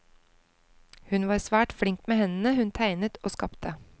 Hun var svært flink med hendene, hun tegnet og skapte.